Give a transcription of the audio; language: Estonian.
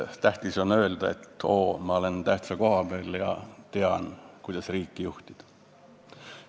Tähtis on öelda, et oo, ma olen tähtsa koha peal ja tean, kuidas riiki juhtida.